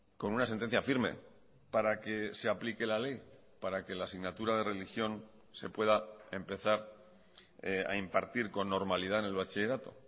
con una sentencia firme para que se aplique la ley para que la asignatura de religión se pueda empezar a impartir con normalidad en el bachillerato